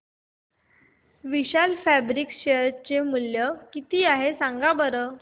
विशाल fabrics share चे मूल्य किती आहे सांगा बरं